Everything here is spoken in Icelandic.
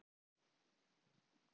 Það var margs spurt.